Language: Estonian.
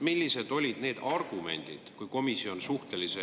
Millised olid need argumendid, mis kõlasid komisjoni koosolekul …